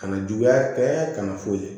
Kana juguya bɛɛ kana foyi